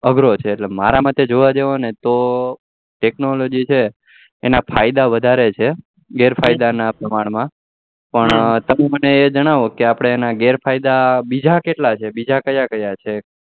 અગરો છે મારાં મતે જોવા જાવ તો technology ના ફાયદા વધારે છે ગેર ફાયદા ના પ્રમાણે માં પણ તમે મન જણાવો કેઆપડા એના ગેર ફાયદા બીજા કેટલા છે બિજા ક્યાં ક્યાં છે